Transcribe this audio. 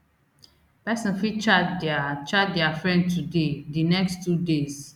pesin fit chat dia chat dia friend today di next two days